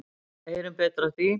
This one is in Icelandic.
Heyrum betur af því.